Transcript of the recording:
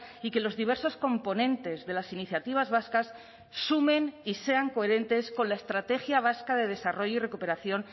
y que los diversos componentes de las iniciativas vascas sumen y sean coherentes con la estrategia vasca de desarrollo y recuperación